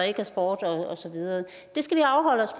ikke var sport og så videre det skal vi afholde os